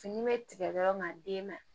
Fini bɛ tigɛ yɔrɔ min na den na